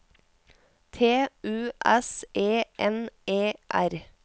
T U S E N E R